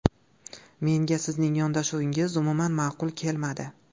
Menga sizning yondashuvingiz umuman ma’qul kelmadi.